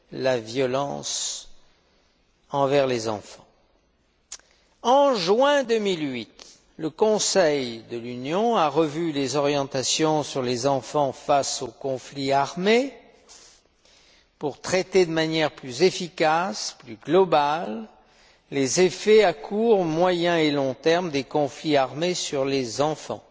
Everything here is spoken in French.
la violence à l'égard des enfants. En juin 2008, le Conseil de l'Union a revu les orientations sur les enfants face aux conflits armés pour traiter de manière plus efficace, plus globale, les effets à court, moyen et long termes des conflits armés sur les enfants.